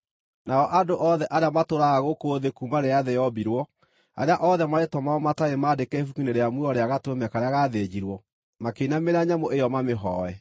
Nao andũ othe arĩa matũũraga gũkũ thĩ kuuma rĩrĩa thĩ yombirwo, arĩa othe marĩĩtwa mao matarĩ maandĩke ibuku-inĩ rĩa muoyo rĩa Gatũrũme karĩa gaathĩnjirwo, makĩinamĩrĩra nyamũ ĩyo mamĩhooe.